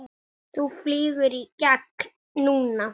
Ég get ekki meira.